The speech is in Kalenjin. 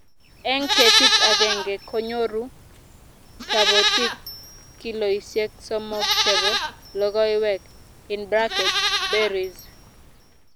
eng ketit agenge, konyooru kabotik kiloisiek sosom chebo lokoek(berries)